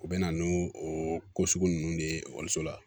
U bɛ na n'u o ko sugu ninnu de ye ekɔliso la